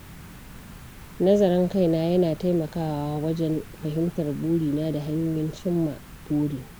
Nazarin kaina yana taimakawa wajen fahimtar burina da hanyoyin cimma burin.